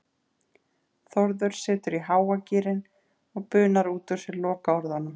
Þórður setur í háa gírinn og bunar út úr sér lokaorðunum